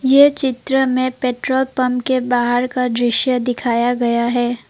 ये चित्र में पेट्रोल पंप के बाहर का दृश्य दिखाया गया है।